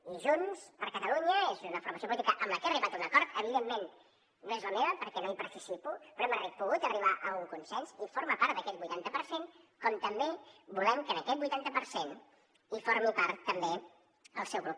i junts per catalunya és una formació política amb la que he arribat a un acord evidentment no és la meva perquè no hi participo però hem pogut arribar a un consens i forma part d’aquest vuitanta per cent com també volem que d’aquest vuitanta per cent en formi part també el seu grup